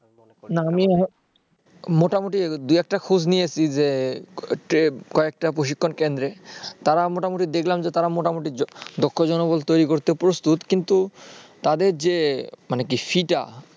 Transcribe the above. না আমি মোটামুটি দু একটা খোঁজ নিয়েছি যে কয়েকটা প্রশিক্ষন কেন্দ্রে তারা মোটামুটি দেখলাম যে তারা মোটামুটি দক্ষ জনবল তৈরি করতে প্রস্তুত কিন্তু তাদের যে fee টা